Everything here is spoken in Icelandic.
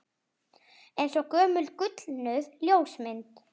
Eins og gömul gulnuð ljósmynd